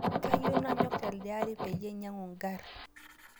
Kayieu nanyok teldeari payie ainyangu nkari